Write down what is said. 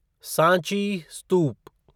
Sanchi स्तूप